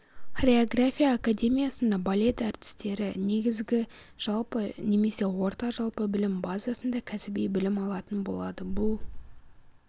хореография академиясында балет әртістері негізгі жалпы немесе орта жалпы білім базасында кәсіби білім алатын болады бұл